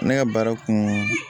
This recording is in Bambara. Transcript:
Ne ka baara kun